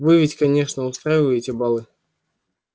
вы ведь конечно устраиваете балы